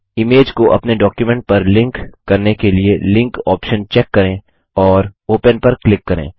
image को अपने document पर लिंक करने के लिए लिंक ऑप्शन चेक करें और ओपन पर क्लिक करें